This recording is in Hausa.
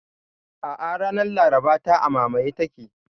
A'a, ranar Laraba ta, a mamaye take